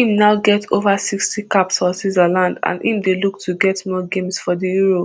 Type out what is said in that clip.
im now get ova sixty caps for switzerland and im dey look to get more games for di euro